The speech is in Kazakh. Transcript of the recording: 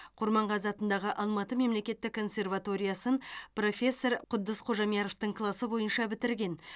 құрманғазы атындағы алматы мемлекеттік консерваториясын профессор құддыс қожамьяровтың класы бойынша бітірген